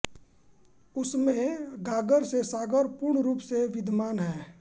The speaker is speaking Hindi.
उसमें गागर में सागर पूर्ण रूप से विद्यमान है